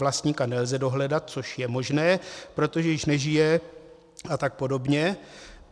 Vlastníka nelze dohledat, což je možné, protože již nežije a tak podobně.